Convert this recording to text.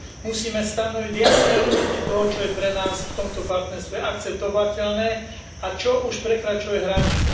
Musíme stanoviť jasné limity toho, čo je pre nás v tomto partnerstve akceptovateľné a čo už prekračuje hranice.